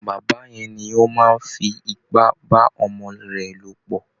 Bàbá yẹn ni ó máa ń fi ipá bá ọmọ rẹ̀ lò pọ̀